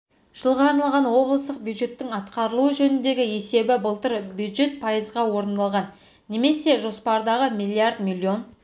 жылға арналған облыстық бюджеттің атқарылуы жөніндегі есебі былтыр бюджет пайызға орындалған немесе жоспардағы миллиард миллион